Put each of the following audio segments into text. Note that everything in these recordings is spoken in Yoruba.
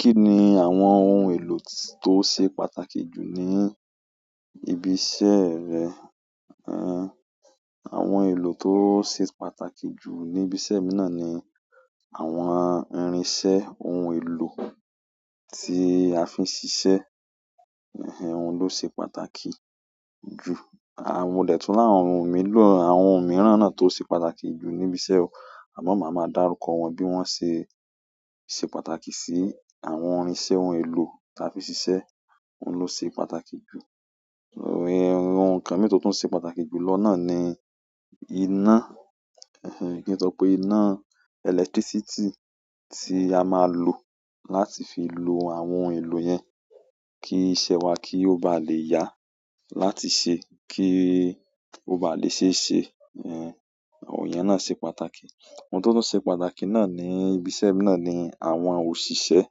Kí ni àwọn ohun èlò tó ṣe pàtàkì jù ní ibi iṣẹ́ rẹ? Àwọn èlò tó ṣe pàtàkì jù ní ibi iṣẹ́ mi náà ni àwọn irinṣẹ́ ohun èlò tí a fí ń ṣiṣẹ́, eh, òun ló ṣe pàtàkì jù. À. Modẹ̀ tún rí àwọn ohun mìíràn náà tó ṣe pàtàkì jù níbi iṣẹ́ ọ, àmọ́ màá máa dárúkọ wọn bí wọ́n ṣe, ṣe pàtàkì sí àwọn irinṣẹ́ ohun èlò ta fí ń ṣiṣẹ́, òun ló ṣe pàtàkì jù. Òò, ohun kan míì tótún ṣe pàtàkì jù lọ náà ni iná, eh, kí n sọ pé iná electricity tí a máa lò láti fi lo àwọn ohun èlò yẹn, kí iṣẹ́ wa kí ó ba lè yá, láti ṣe kí ó ba lè ṣe é ṣe, eh, àwọn ìyẹn náà ṣe pàtàkì. Ohun tótún ṣe pàtàkì náà ní ibi iṣẹ́ mi náà ni àwọn òṣìṣẹ́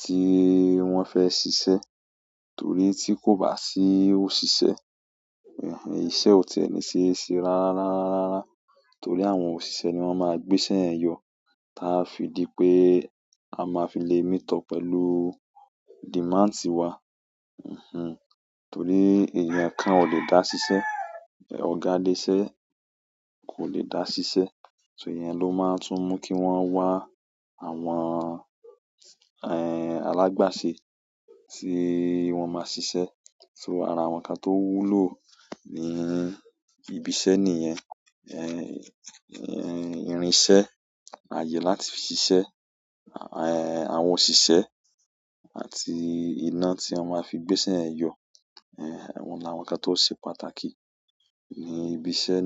tí wọ́n fẹ́ ṣiṣẹ́, torí tí kò bá sí òṣìṣẹ́, eh, iṣẹ́ ò ti áẹ̀ ní ṣe é ṣe rárá rárá rárá. Torí àwọn òṣìṣẹ́ ni wọ́n máa gbé iṣẹ́ yẹn yọ. Tá á fi di pé a ma fi le meet up pẹ̀lú demand wa, mhm, torí èèyàn kan ò lè dá ṣiṣẹ́, ọ̀gá ilé-iṣẹ́ kò lè dá ṣiṣẹ́. So ìyẹn ló má ń tún mú kí wọ́n wá àwọn, ehn, alágbàse tí wọ́n máa ṣiṣẹ́. So ara àwọn ǹkan tó wúlò ní ibi iṣẹ́ nìyẹn. Ẹ̀h, irin iṣẹ́, àyè láti fi ṣiṣẹ́, àwọn òṣìṣẹ́ àti iná tí wọ́n ma fi gbé iṣẹ́ yẹn yọ. Ẹh, àwọn làwọn ǹkan tó ṣe pàtàkì ní ibi iṣẹ́.